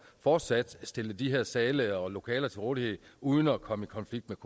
fortsat at stille de her sale og lokaler til rådighed uden at komme i konflikt